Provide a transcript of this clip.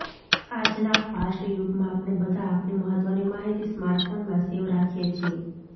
આજના ફાસ્ટ યુગમાં આપણે બધા આપણી મહત્વની માહિતી સ્માર્ટફોનમાં સેવ રાખીએ છીએ